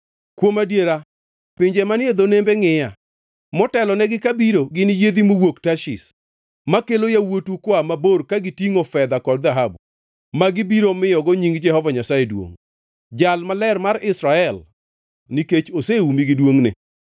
Kuom adiera pinje manie dho nembe ngʼiya, motelonegi kabiro gin yiedhi mowuok Tarshish, makelo yawuotu koa mabor ka gitingʼo fedha kod dhahabu, magi biro miyogo nying Jehova Nyasaye duongʼ, Jal Maler mar Israel, nikech oseumi gi duongʼne.